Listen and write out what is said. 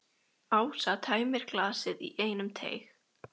Ásta tæmir glasið í einum teyg.